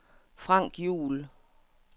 Frank Juhl